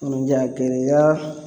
Munnu y'a gɛlɛya